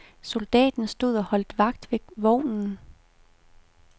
Soldaten stod og holdt vagt ved vognen.